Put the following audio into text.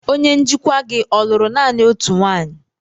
Onye njikwa gị ọ lụrụ naanị otu nwanyị?